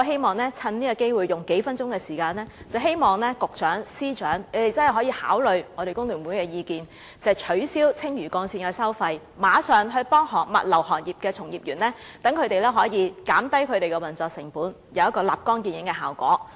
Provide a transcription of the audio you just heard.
我花數分鐘時間發言，藉此機會促請局長和司長考慮工聯會的意見，取消青嶼幹線收費，協助物流行業的從業員，減低他們的運作成本，以取得立竿見影的效果。